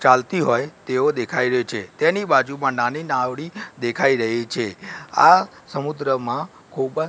ચાલતી હોઈ તેવો દેખાઈ રયો છે તેની બાજુમાં નાની નાવડી દેખાઈ રહી છે આ સમુદ્રમાં ખોબા--